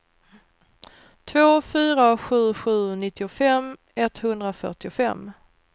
två fyra sju sju nittiofem etthundrafyrtiofem